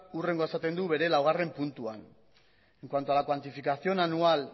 hurrengoa esaten du bere laugarren puntuan en cuanto a la cuantificación anual